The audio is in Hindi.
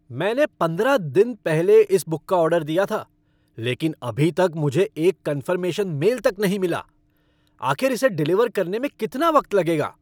मैंने पंद्रह दिन पहले इस बुक का ऑर्डर दिया था, लेकिन अभी तक मुझे एक कन्फ़र्मेशन मेल तक नहीं मिला। आखिर इसे डिलीवर करने में कितना वक्त लगेगा?